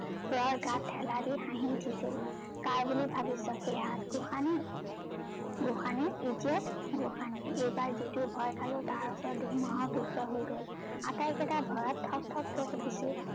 প্ৰৰ গাত ঠেলা দি হাহি উঠিছিল কাৰ বুলি ভাবিচ সেই হাত গোসানীৰ, গোসানী idiot গোসানী এইবাৰ যিটো ভয় খালো তাৰ ওচৰত ধুমুহাও তুষ্ট হৈ গল আটাইকেইতা ভয়ত থক থককে কপিছো